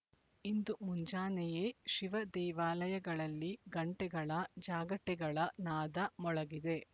ಇಂದು ಮುಂಜಾನೆಯೇ ಶಿವ ದೇವಾಲಯಗಳಲ್ಲಿ ಗಂಟೆಗಳ ಜಾಗಟೆಗಳ ನಾದ ಮೊಳಗಿದೆ